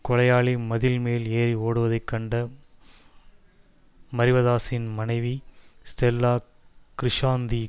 கொலையாளி மதில் மேல் ஏறி ஓடுவதைக் கண்ட மரிவதாஸின் மனைவி ஸ்டெலா கிருஷாந்தி